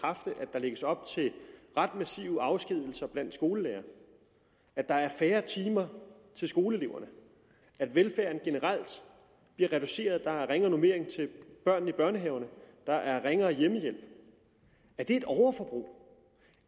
der lægges op til ret massive afskedigelser blandt skolelærere at der er færre timer til skoleeleverne at velfærden generelt bliver reduceret at der er ringere normeringer til børnene i børnehaverne at der er ringere hjemmehjælp er det et overforbrug